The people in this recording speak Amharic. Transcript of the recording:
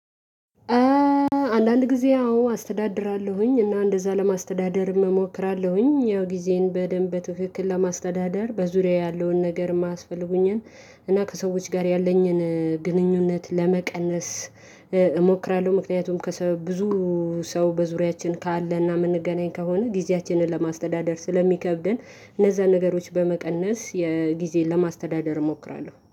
አንዳንድ ጊዜ አዎ አስተዳድራለሁኝ እና እንደዛ ለማስተዳደር እሞክራለሁኝ ያው ጊዜን በደንብ በትክክል ለማስተዳደር በዙሪያዬ ያለውን ነገር ማስፈልጉኝን እና ከሰዎች ጋር ያለኝን ግንኙነት ለመቀነስ። እሞክራለሁ ምክንያቱም ከሰበብ ብዙ ሰው በዙሪያችን ካለና የምንገናኝ ከሆነ ጊዜያችንን ለማስተዳደር ስለሚከብደን። እነዛ ነገሮች በመቀነስ የጊዜን ለማስተዳደር እሞክራለሁ